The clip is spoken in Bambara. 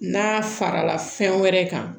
N'a farala fɛn wɛrɛ kan